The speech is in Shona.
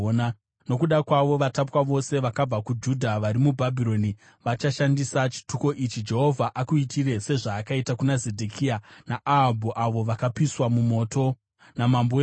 Nokuda kwavo, vatapwa vose vakabva kuJudha vari muBhabhironi vachashandisa chituko ichi: ‘Jehovha akuitire sezvaakaita kuna Zedhekia naAhabhu avo vakapiswa mumoto namambo weBhabhironi.’